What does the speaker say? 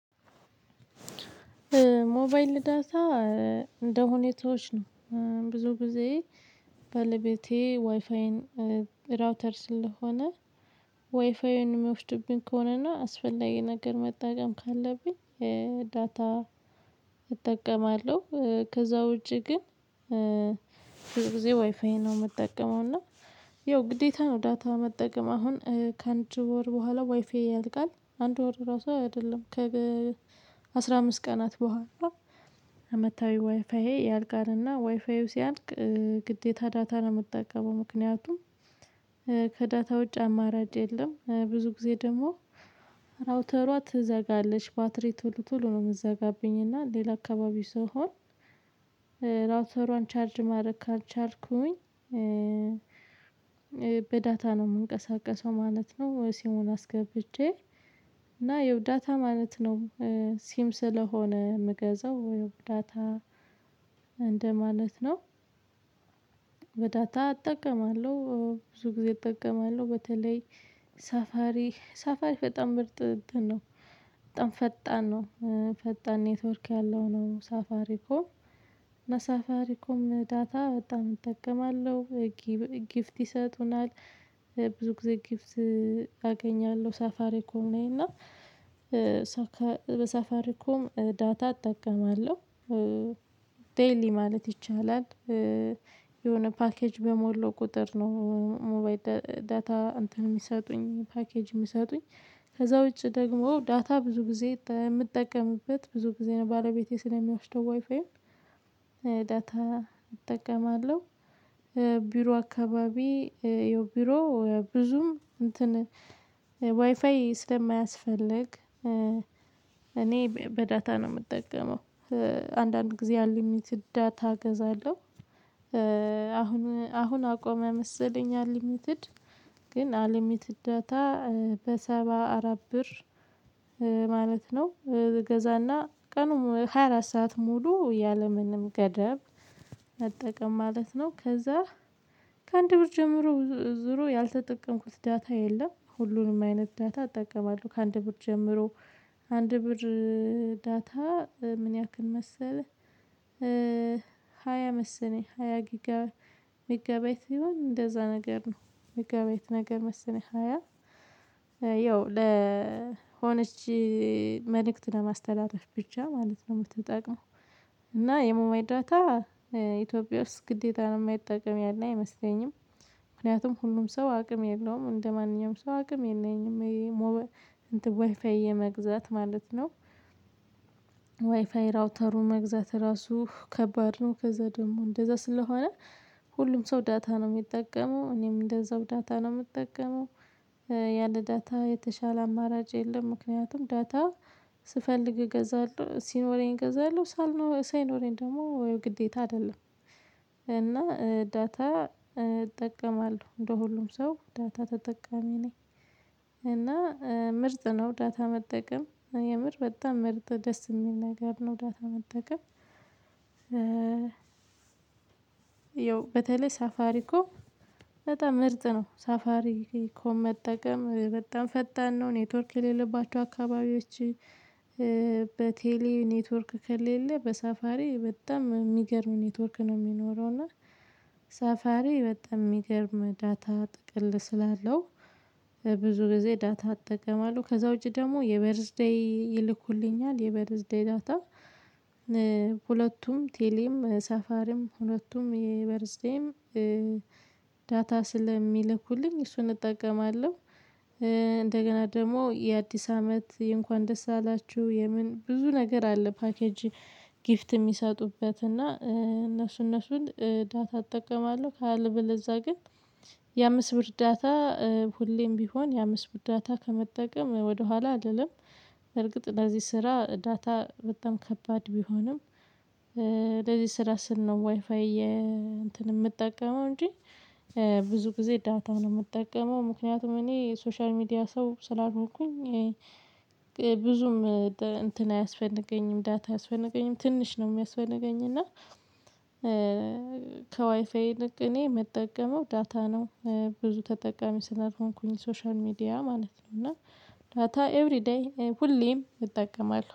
ሞባይል ዳታ እንደሁኔታዎች ነው ብዙ ጊዜ ባለቤቴ ዋይፋይን ራውተር ስለሆነ ዋይፋይን የሚወስድብኝ ከሆነና አስፈላጊ ነገር መጠቀም ካለብኝ ዳታ እጠቀማለሁ። ከዛ ውጪ ግን ብዙ ጊዜ ዋይፋይ ነው የምጠቀመው። እና ያው ግዴታ ነው ዳታ መጠቀም አሁን ከአንድ ወር በኋላ ዋይፋይ ያልቃል አንድ ወር ራሱ አይደለም ከ አስራ አምስት ቀናት በኋላ አመታዊ ዋይፋዬ ያልቃልና ዋይፋዩ ሲያልቅ ግዴታ ዳታ ነው የምጠቀመው። ምክንያቱም ከዳታ ውጭ አማራጭ የለም። ብዙ ጊዜ ደግሞ ራውተሯ ትዘጋለች ባትሪ ቶሎ ቶሎ ነው የምትዘጋብኝ። እና ሌላ አካባቢ ስሆን ራውተሯን ቻርጅ ማድረግ ካልቻልኩኝ በዳታ ነው የምንቀሳቀሰው ማለት ነው። ሲሙን አስገብጄ እና ያው ዳታ ማለት ነው። ሲም ስለሆነ ምገዛው ወይም ዳታ እንደማለት ነው። በዳታ አጠቀማለሁ ብዙ ጊዜ እጠቀማለሁ። በተለይ ሳፋሪ ራውተሯ ትዘጋለች ባትሪ ቶሎ ቶሎ ነው የምትዘጋብኝ። እና ሌላ አካባቢ ስሆን። ጊፍት ይሰጡናል ብዙ ጊዜ ጊፍት አገኛለሁ ሳፋሪ ኮም እና በሳፋሪ ኮም ዳታ እጠቀማለሁ። ዴይሊ ማለት ይቻላል። የሆነ ፓኬጅ በሞለው ቁጥር ነው ሞባይል ዳታ እንትን ሚሰጡኝ ፓኬጅ ሚሰጡኝ ከዛ ውጪ ደግሞ ዳታ ብዙ ጊዜ የምጠቀምበት ብዙ ጊዜ ነው ባለቤቴ ስለሚያወስደው ዋይፋዪን ዳታ እጠቀማለሁ። ቢሮ አካባቢ የቢሮ ብዙም እንትን ዋይፋይ ስለማያስፈልግ እኔ በዳታ ነው የምጠቀመው። አንዳንድ ጊዜ አልሚትድ ዳታ እገዛለሁ። አሁን አሁን አቆመ መሰለኝ አልሚትድ ግን አልሚትድ ዳታ በሰባ አራት ብር ማለት ነው እገዛና ቀኑም ሃያ አራት ሰዓት ሙሉ ያለምንም ገደብ መጠቀም ማለት ነው። ከዛ ከአንድ ብር ጀምሮ ዙሮ ያልተጠቀምኩት ዳታ የለም ሁሉንም አይነት ዳታ እጠቀማለሁ። ከአንድ ብር ጀምሮ አንድ ብር ዳታ ምን ያክል መሰለህ ሃያ መሰለኝ ሃያ ሜጋቢያት ሲሆን እንደዛ ነገር ነው የሚጋባይት ነገር መስለኝ ሃያ ያው ለሆነች መልእክት ለማስተላለፍ ብቻ ማለት ነው የምትጠቅመው። እና የሞባይል ዳታ ኢትዮጵያ ውስጥ ግዴታ ነው የማይጠቅም ያለ አይመስለኝም። ምክንያቱም ሁሉም ሰው አቅም የለውም እንደማንኛውም ሰው አቅም የለኝም ይሄ ዋይፋይ የመግዛት ማለት ነው ራውተሩን መግዛት ራሱ ከባድ ነው። ከዛ ደግሞ እንደዛ ስለሆነ ሁሉም ሰው ዳታ ነው የሚጠቀመው እኔም እንደዛው ዳታ ነው የምጠቀመው። ያለ ዳታ የተሻለ አማራጭ የለም። ምክንያቱም ዳታ ስፈልግ እገዛለሁ ሲኖረኝ እገዛለሁ ሳይኖረኝ ደግሞ ግዴታ አይደለም። እና ዳታ እጠቀማለሁ እንደ ሁሉም ሰው ዳታ ተጠቃሚ ነኝ። እና ምርጥ ነው ዳታ መጠቀም የምር በጣም ምርጥ ደስ የሚል ነገር ነው ዳታ መጠቀም። ያው በተለይ ሳፋሪኮም በጣም ምርጥ ነው። ሳፋሪኮም መጠቀም በጣም ፈጣን ነው ኔትወርክ የሌለባቸው አካባቢዎች። በቴሌ ኔትወርክ ከሌለ በሳፋሪ በጣም ሚገርም ኔትወርክ ነው የሚኖረው። እና ሰፋሪ በጣም ሚገርም ዳታ ጥቅል ስላለው ብዙ ጊዜ ዳታ አጠቀማለሁ። ከዛ ውጪ ደግሞ የበርዝ ዴይ ይልኩልኛል የበርዝ ዴይ ዳታ ሁለቱም ቴሌም ሳፋርም ሁለቱም የበርዝዴም ዳታ ስለሚልኩልኝ እሱን እጠቀማለሁ። እንደገና ደግሞ የአዲስ አመት እንኳን ደስ አላችሁ የምን ብዙ ነገር አለ ፓኬጅ ጊፍት የሚሰጡበት እና እነሱ እነሱን ዳታ እጠቀማለሁ። ካለበለዛ ግን የአምስት ብር ዳታ ሁሌም ቢሆን የአምስት ብር ዳታ ከመጠቀም ወደኋላ አልልም። በርግጥ ለዚህ ስራ ዳታ በጣም ከባድ ቢሆንም ለዚህ ስራ ስል ነው ዋይፋይ እንትን የምጠቀመው እንጂ ብዙ ጊዜ ዳታ ነው የምጠቀመው። ምክንያቱም እኔ ሶሻል ሚዲያ ሰው ስላልሆንኩኝ። ብዙም እንትን አያስፈነገኝም ዳታ አያስፈነገኝም ትንሽ ነው የሚያስፈልገኝ። እና ከዋይፋይ ይልቅ እኔ ምጠቀመው ዳታ ነው። ብዙ ተጠቃሚ ስላልሆንኩኝ ሶሻል ሚዲያ ማለት ነው እና ዳታ ኤቭሪ ሁሌም እጠቀማለሁ